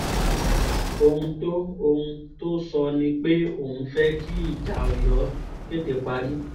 ohun to ohun to sọ nipe oun fẹ ki ija ọyọ tete pari